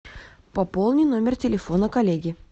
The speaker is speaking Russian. пополни номер телефона коллеге